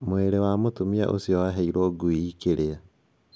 Mwĩrĩ wa mũtumia ucio waheirwo ngui ikĩrĩa